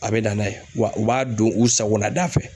A bɛ na n'a ye wa u b'a don u sagona da fɛ